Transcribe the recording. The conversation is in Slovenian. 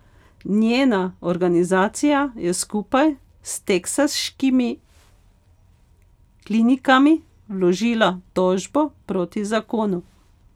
Njena organizacija je skupaj s teksaškimi klinikami vložila tožbo proti zakonu.